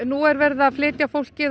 nú er verið að flytja fólkið